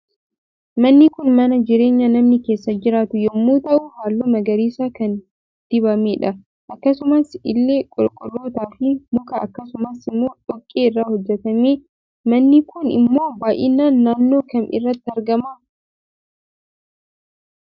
Manni Kun mana jireenya namni keessa jiraatu yommuu ta'u halluu magariisa kan dinamedha akkasumas illee qorqortoo fi mika akkasumas immoo dhoqqee irraa hojjetame. manni Kun immoo baay'inan naannoo Kam irratti argama?